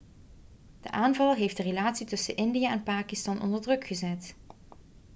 de aanval heeft de relatie tussen india en pakistan onder druk gezet